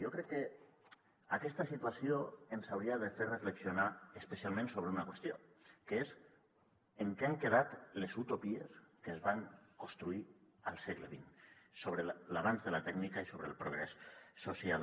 jo crec que aquesta situació ens hauria de fer reflexionar especialment sobre una qüestió que és en què han quedat les utopies que es van construir al segle xx sobre l’avanç de la tècnica i sobre el progrés social